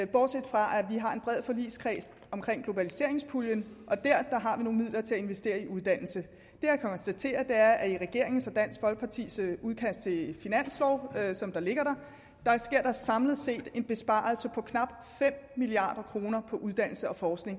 bortset fra at vi har en bred forligskreds om globaliseringspuljen og der har vi nogle midler til at investere i uddannelse det jeg kan konstatere er at i regeringen og dansk folkepartis udkast til finanslov som ligger her sker der samlet set en besparelse på knap fem milliard kroner på uddannelse og forskning